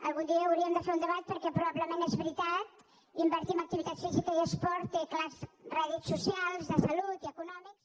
algun dia hauríem de fer un debat perquè probablement és veritat invertir en activitat física i esport té clars rèdits socials de salut i econòmics